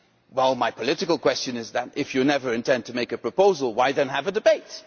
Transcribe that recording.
Well, my political question is if you never intend to make a proposal, why then have a debate?